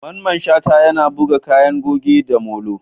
Mamman Shata, yana buga kayan goge da molo.